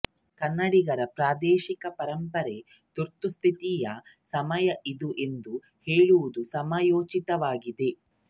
ಕನ್ನಡಿಗರ ಪ್ರಾದೇಶಿಕ ಪರಂಪರೆಯ ತುರ್ತುಪಸ್ಥಿತಿ ಸಮಯ ಇದು ಎಂದು ಹೇಳುವುದು ಸಮಯೋಚಿತವಾಗಿದೆ